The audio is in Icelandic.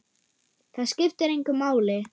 Það skiptir engu máli.